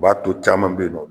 U b'a to caman bɛ ye nɔ